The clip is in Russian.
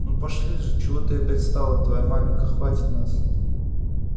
ну пошли же чего ты опять стала твоя маменька хватит нас